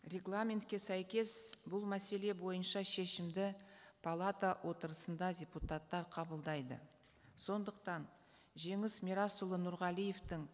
регламентке сәйкес бұл мәселе бойынша шешімді палата отырысында депутаттар қабылдайды сондықтан жеңіс мирасұлы нұрғалиевтің